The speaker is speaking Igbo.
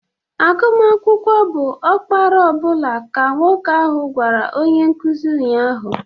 Agụmakwụkwọ bụ ọkpara ọ bụla ka nwoke ahụ gwara onye nkuzi ụnyahụ.